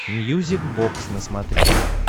мьюзик бокс на смотрешке